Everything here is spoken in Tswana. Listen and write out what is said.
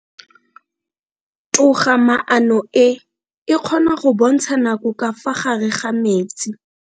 Toga-maano e, e kgona go bontsha nako ka fa gare ga metsi.